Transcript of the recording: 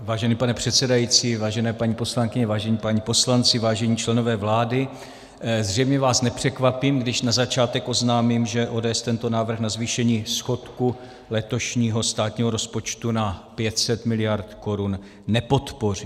Vážený pane předsedající, vážené paní poslankyně, vážení páni poslanci, vážení členové vlády, zřejmě vás nepřekvapím, když na začátek oznámím, že ODS tento návrh na zvýšení schodku letošního státního rozpočtu na 500 miliard korun nepodpoří.